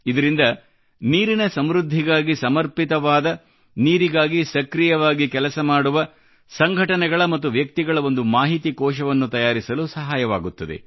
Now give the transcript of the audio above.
ಇದರಿಂದ ನೀರಿನ ಸಮೃದ್ಧತೆಗಾಗಿ ಸಮರ್ಪಿತವಾದ ನೀರಿಗಾಗಿ ಸಕ್ರಿಯವಾಗಿ ಕೆಲಸ ಮಾಡುವ ಸಂಘಟನೆಗಳ ಮತ್ತು ವ್ಯಕ್ತಿಗಳ ಒಂದು ಮಾಹಿತಿ ಕೋಶವನ್ನು ತಯಾರಿಸಲು ಸಹಾಯವಾಗುತ್ತದೆ